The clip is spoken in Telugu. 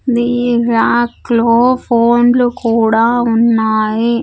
ది రాక్ లో ఫోన్లు కూడా ఉన్నాయి.